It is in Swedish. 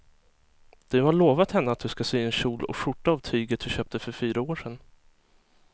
Du har lovat henne att du ska sy en kjol och skjorta av tyget du köpte för fyra år sedan.